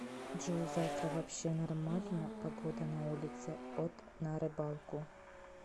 джой завтра вообще нормально погода на улице от на рыбалку